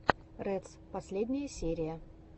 рэдс последняя серия